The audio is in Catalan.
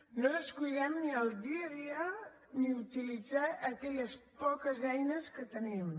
no descuidem ni el dia a dia ni utilitzar aquelles poques eines que tenim